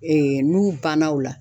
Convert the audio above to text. n'u banna o la.